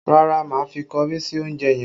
Rárá, má fi kọrí sí oúnjẹ yẹn